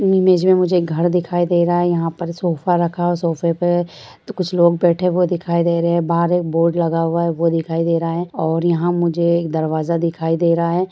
इस इमेज में मुझे एक घर दिखाई दे रहा है यहाँ पर सोफा रखा हुआ सोफा पे कुछ लोग बैठे हुए दिखाई दे रहे हैं बाहर एक बोर्ड लगा हुआ है वो दिखाई दे रहा है और यहाँ मुझे एक दरवाजा दिखाई दे रहा है।